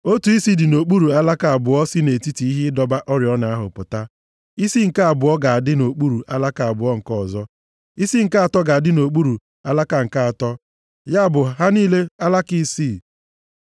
Otu isi dị nʼokpuru alaka abụọ si nʼetiti ihe ịdọba oriọna ahụ pụta, isi nke abụọ ga-adị nʼokpuru alaka abụọ nke ọzọ, isi nke atọ ga-adị nʼokpuru alaka nke atọ, ya bụ ha niile alaka isii.